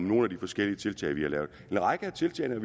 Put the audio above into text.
nogle af de forskellige tiltag vi har gjort en række af tiltagene